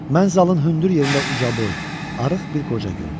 Mən zalın hündür yerində ucaboy, arıq bir qoca gördüm.